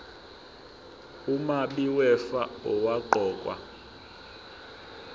umabi wefa owaqokwa